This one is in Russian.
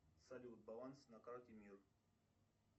салют баланс на карте мир